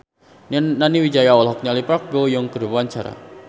Nani Wijaya olohok ningali Park Bo Yung keur diwawancara